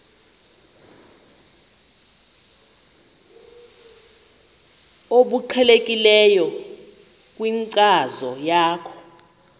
obuqhelekileyo kwinkcazo yakho